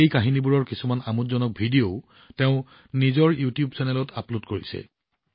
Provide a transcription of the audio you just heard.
এই কাহিনীবোৰৰ কিছুমান আমোদজনক ভিডিঅও তেওঁ নিজৰ ইউটিউব চেনেলত আপলোড কৰিছে